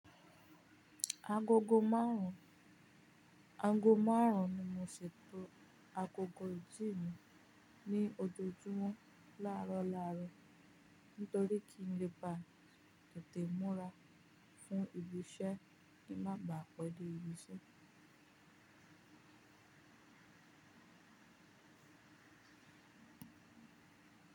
Agogo márùn-ún, ago márùn-ún ni mo ṣètò agogo ìji mi ní ojoojúmọ́ láàrọ̀ láàrọ̀ nítorí kí n lè bá tètè múra fún ibi iṣẹ́ kí ń má ba à pẹ́ dé ibi iṣẹ́